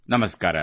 ನಮಸ್ಕಾರ